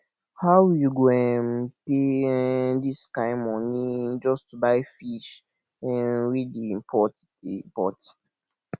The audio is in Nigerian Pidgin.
how you go um pay um this kin money just to buy fish um wey dey import dey import